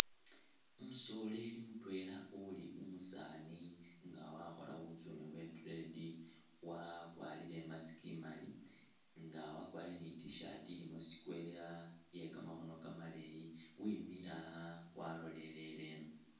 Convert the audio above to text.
Umusoleli mutwela uli umusani nga wakhola butsune bwe tread, wakwarile i'mask imaali nga wakwarile i'tshirt ilimo square iye kamakhono kamaleyi wemile awo waloleleleno